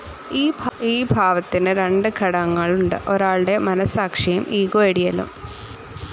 ഈ ഭാവത്തിന്ന് രണ്ട് ഘടകങ്ങളുണ്ട് ഒരാളുടെ മനസാക്ഷിയും ഇഗോ ഐഡിയലും.